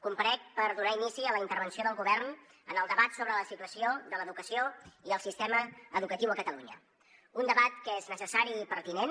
comparec per donar inici a la intervenció del govern en el debat sobre la situació de l’educació i el sistema educatiu a catalunya un debat que és necessari i pertinent